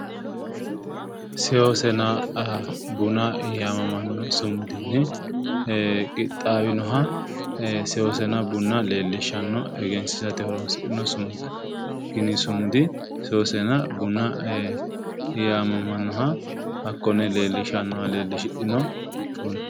Seosenna bunna yamamano sumudinni qixaawinoha seosenna bunna leelishano egensiissate horoosidhino sumudda kunni sumudi seosenna bunna yaamamanoha hakkone leelishanoha leelishidhino bunna.